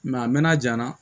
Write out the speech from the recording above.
a mɛna ja n na